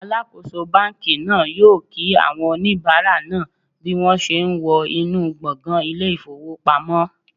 Alakoso banki naa yoo ki awon onibara naa bi won se wo inu gbongan ile ifowopamo